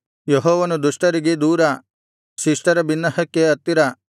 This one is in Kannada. ಯೆಹೋವನು ದುಷ್ಟರಿಗೆ ದೂರ ಶಿಷ್ಟರ ಬಿನ್ನಹಕ್ಕೆ ಹತ್ತಿರ